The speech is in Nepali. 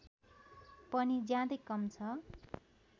पनि ज्यादै कम छ